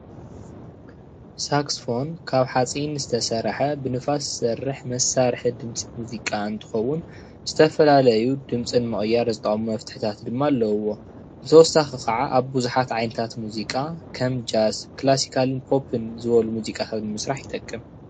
ሳክስፎን ካብ ሓፂን ዝተሰረሓ ብንፋስ ዝሰርሕ መሳርሒ ድምፂ ሙዚቃ እንትከውን ዝተፈላለዩ ድምፂ ንምቅያር ዝጠቅሙ መፍትሕታት ኣለዎ። ብተወሳኪ ከዓ ኣብ ቡዙሓት ዓይነት ሙዚቃ ከም ጃስ ፣ክላስካል ፣ኮፒን ንምስራሕ ይጠቅም።